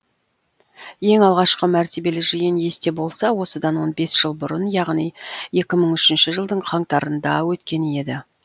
ең алғашқы мәртебелі жиын есте болса осыдан он бес жыл бұрын яғни екі мың үшінші жылдың қаңтарында өткен еді